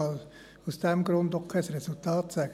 Aus diesem Grund kann ich auch kein Resultat mitteilen.